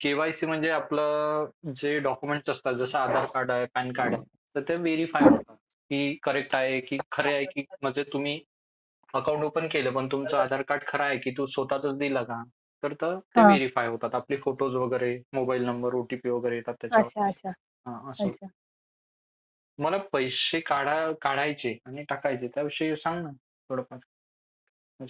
KYC म्हणजे आपलं जे डॉक्युमेंट असतं जसा आधार कार्ड पॅन कार्ड तर ते व्हेरिफाय होतात की ते करेक्ट आहे की खरे आहे की तुम्ही म्हणजे तुम्ही अकाउंट ओपन केलं पण तुमचं पण तुमचा आधार कार्ड खरा आहे की तू स्वतःच दिलं का. तर ते व्हेरिफाय होतो आपले फोटोज वगैरे मोबाईल नंबर ओटीपी वगैरे येतात त्याच्यावर. मला पैसे काढायचे आणि टाकायचे त्याविषयी सांग ना थोडंफार.